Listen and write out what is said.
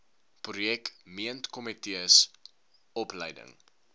projek meentkomitees opleiding